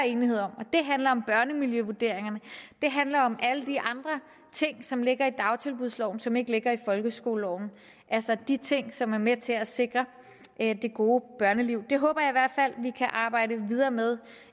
enighed om det handler om børnemiljøvurderingerne det handler om alle de andre ting som ligger i dagtilbudsloven og som ikke ligger i folkeskoleloven altså de ting som er med til at sikre det gode børneliv det håber jeg i hvert fald vi kan arbejde videre med